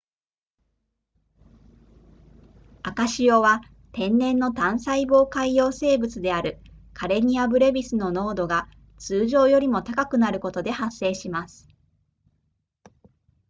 赤潮は天然の単細胞海洋生物であるカレニアブレビスの濃度が通常よりも高くなることで発生します